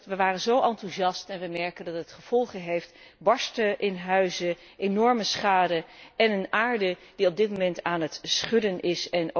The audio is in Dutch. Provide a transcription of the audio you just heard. We waren zo enthousiast maar inmiddels merken we dat die gevolgen heeft barsten in huizen, enorme schade en een aarde die op dit moment aan het schudden is.